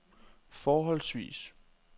forholdsvis